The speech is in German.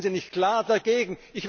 Warum sind Sie nicht klar dagegen?